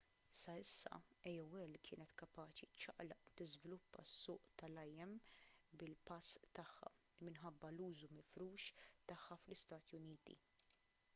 sa issa aol kienet kapaċi ċċaqlaq u tiżviluppa s-suq tal-im bil-pass tagħha minħabba l-użu mifrux tagħha fl-istati uniti